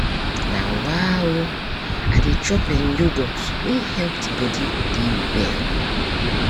nah wah oh i dey chop um yoghurt wey help the body dey well.